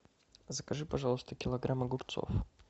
закажи пожалуйста килограмм огурцов